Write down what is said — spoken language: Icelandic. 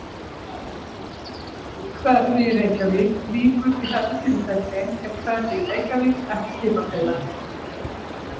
Hverfi í Reykjavík Víkur í þessu tilfelli er hverfi í Reykjavík ekki skipafélag.